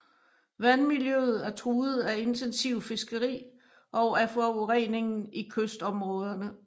Vandmiljøet er truet af intensivt fiskeri og af forureningen i kystområderne